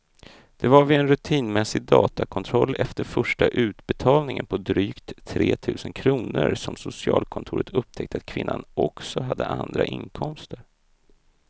Det var vid en rutinmässig datakontroll efter första utbetalningen på drygt tre tusen kronor som socialkontoret upptäckte att kvinnan också hade andra inkomster.